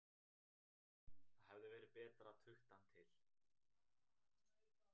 Það hefði verið betra að tukta hann til.